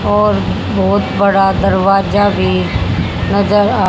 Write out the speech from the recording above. और बहुत बड़ा दरवाजा भी नजर आ--